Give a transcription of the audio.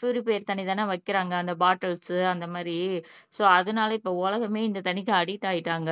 இந்த பியூரிஃபைடு தண்ணி தானே வைக்கிறாங்க அந்த பாட்டில்ஸ் அந்த மாதிரி சோ அதனால இப்போ உலகமே இந்த தண்ணிக்கு அடிக்ட் ஆயிட்டாங்க